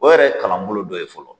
O yɛrɛ ye kalanbolo dɔ ye fɔlɔ.